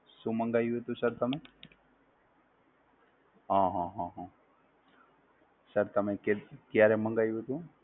શું મંગાવ્યું હતું Sir તમે? આહ! Sir તમે ક્યારે મંગાવ્યું હતું?